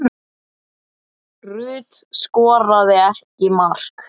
Rut skoraði ekki mark.